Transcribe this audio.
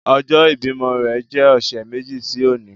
Ọjọ ibimọ rẹ jẹ ọsẹ meji si oni